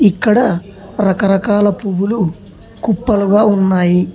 ఇక్కడ రకరకాల పువ్వులు కుప్పలుగా ఉన్నాయి.